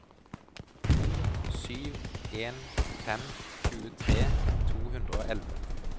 to sju en fem tjuetre to hundre og elleve